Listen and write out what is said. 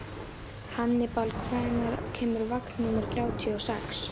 Hannibal, hvenær kemur vagn númer þrjátíu og sex?